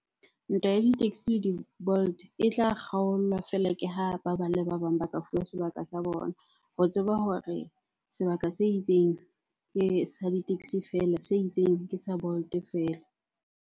Ntwa ya di-taxi di-Bolt e tla kgaolwa feela ke ha ba bang le ba bang ba ka fuwa sebaka sa bona. Ho tseba hore sebaka se itseng ke sa di-taxi feela, se itseng ke sa Bolt feela.